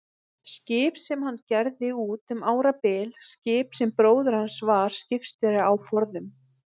Skip sem hann gerði út um árabil, skip sem bróðir hans var skipstjóri á forðum.